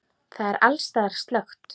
Það er alls staðar slökkt.